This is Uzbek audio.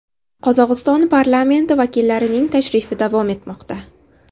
Qozog‘iston parlamenti vakillarining tashrifi davom etmoqda.